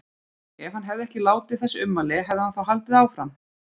Ef hann hefði ekki látið þessi ummæli, hefði hann þá haldið áfram?